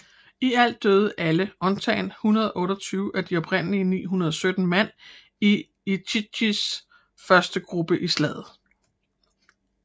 I alt døde alle undtagen 128 af de oprindelig 917 mand i Ichikis første gruppe i slaget